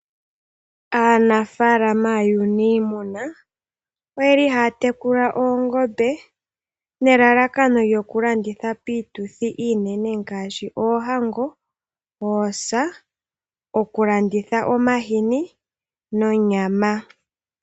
Aanafalama yuunimuna oyeli haya tekula oongombe nelalakano lyoku landitha piituthi iinene ngaashi oohango, oosa , okulanditha omahini nonyama.